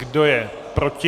Kdo je proti?